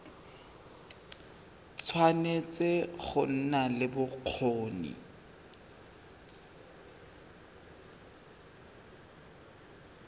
tshwanetse go nna le bokgoni